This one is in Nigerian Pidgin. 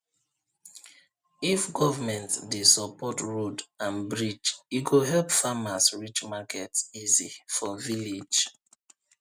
if government dey support road and bridge e go help farmers reach market easy for village